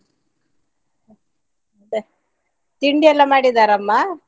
ಮತ್ತೆ ತಿಂಡಿಯೆಲ್ಲ ಮಾಡಿದ್ದಾರಾ ಅಮ್ಮ?